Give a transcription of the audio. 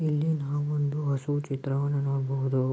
ಇಲ್ಲಿ ನಾವು ಒಂದು ಹಸು ಚಿತ್ರವನ್ನು ನೋಡಬಹುದು.